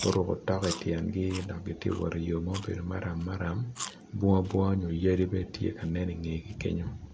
guruku otok i tyengi dok giti wot i yo mubedo maram maram, bunga bunga nyo yadi bene ti nen i ngegi kenyo.